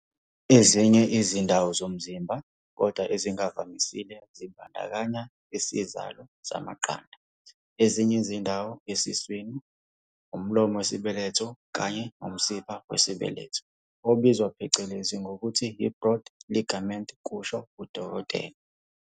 "Ezinye izindawo zomzimba, kodwa ezingavamisile, zibandakanya isizalo samaqanda, ezinye izindawo esiswini, umlomo wesibeletho kanye nomsipha wesibeletho obizwa phecelezi ngokuthi yi-broad ligament," kusho uDkt.